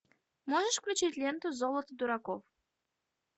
можешь включить ленту золото дураков